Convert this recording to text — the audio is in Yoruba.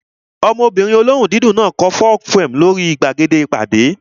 Ọmọbìnrin olóhùn dídùn náà kọ folk poem lórí gbàgede ìpàdé